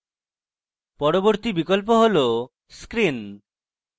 পরবর্তী বিকল্প হল screen